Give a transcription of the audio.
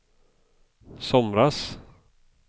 somras